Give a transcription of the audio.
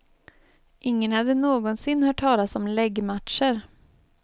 Ingen hade någonsin hört talas om läggmatcher.